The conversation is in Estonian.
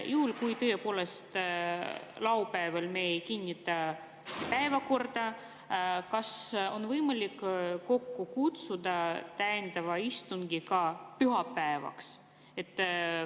Juhul kui tõepoolest laupäeval me ei kinnita päevakorda, kas on siis võimalik kokku kutsuda täiendav istung ka pühapäevaks?